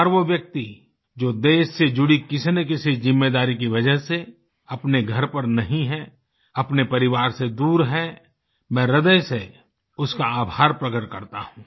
हर वो व्यक्ति जो देश से जुड़ी किसीनकिसी जिम्मेदारी की वजह से अपने घर पर नहीं है अपने परिवार से दूर है मैं ह्रदय से उसका आभार प्रकट करता हूँ